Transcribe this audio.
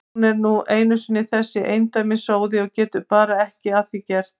Hún er nú einu sinni þessi endemis sóði og getur bara ekki að því gert.